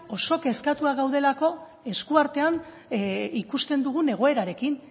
oso kezkatuak gaudelako eskuartean ikusten dugun egoerarekin